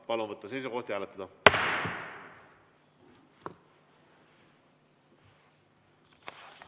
Palun võtta seisukoht ja hääletada!